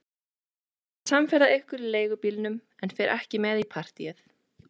Ég ætla að verða samferða ykkur í leigubílnum en fer ekki með í partíið.